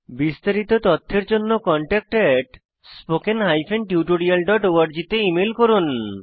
বিস্তারিত তথ্যের জন্য contactspoken tutorialorg তে ইমেল করুন